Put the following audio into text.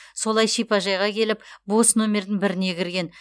солай шипажайға келіп бос номердің біріне кірген